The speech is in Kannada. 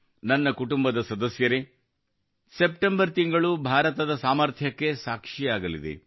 ನನ್ನ ಕುಟುಂಬದ ಸದಸ್ಯರೆ ಸೆಪ್ಟೆಂಬರ್ ತಿಂಗಳು ಭಾರತದ ಸಾಮರ್ಥ್ಯಕ್ಕೆ ಸಾಕ್ಷಿಯಾಗಲಿದೆ